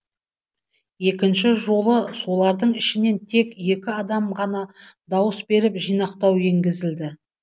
екінші жолы солардың ішінен тек екі адамға ғана дауыс беріп жинақтау енгізілді